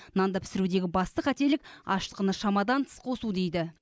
нанды пісірудегі басты қателік ашытқыны шамадан тыс қосу дейді